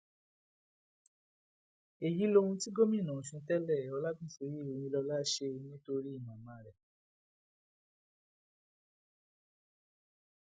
èyí lohun tí gómìnà ọsùn tẹlẹ ọlágúnsọyé ọyinlọlá ṣe nítorí màmá rẹ